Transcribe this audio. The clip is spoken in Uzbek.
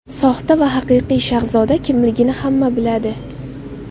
Soxta va haqiqiy Shahzoda kimligini hamma biladi.